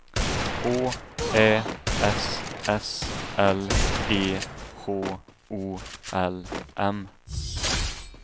H Ä S S L E H O L M